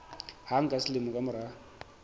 hang ka selemo ka mora